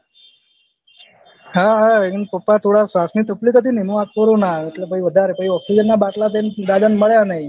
હ હ એન papa થોડા શ્વાસ ની થક્લીફ થી એમ આ કોરોના આયો પહી વધારે પહી ઓક્ષ્સિજન ના બાટલા અને દાદા ને મળ્યા ની